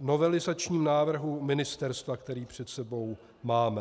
novelizačním návrhu ministerstva, který před sebou máme.